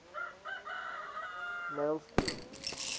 nylstroom